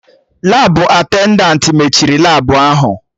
Labụ attendantị mechiri Labụ ahụ